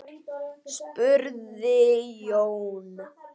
spurði Jón.